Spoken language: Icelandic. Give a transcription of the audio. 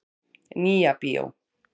Nýja bíó.